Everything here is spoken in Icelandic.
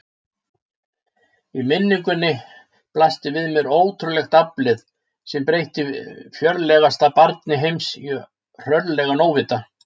Í minningunni blasti við mér ótrúlegt aflið sem breytti fjörlegasta barni heims í hrörlegan óvita.